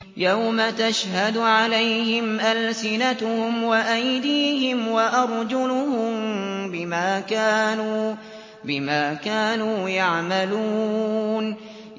يَوْمَ تَشْهَدُ عَلَيْهِمْ أَلْسِنَتُهُمْ وَأَيْدِيهِمْ وَأَرْجُلُهُم بِمَا كَانُوا يَعْمَلُونَ